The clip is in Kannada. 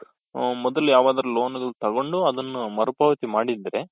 ಮೊದಲು ಯಾವ್ದಾದ್ರು loan ತಗೊಂಡು ಅದನ್ನ ಮರು ಪಾವತಿ ಮಾಡಿದ್ರೆ.